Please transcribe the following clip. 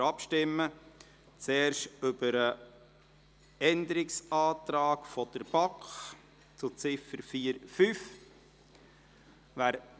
Zuerst stimmen wir über den Änderungsantrag der BaK zu Ziffer 4.5 ab.